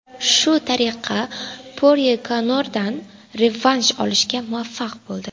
Shu tariqa Porye Konordan revansh olishga muvaffaq bo‘ldi.